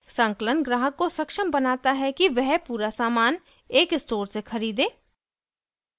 संकलन ग्राहक को सक्षम बनाता है कि वह पूरा सामान एक स्टोर से ख़रीदे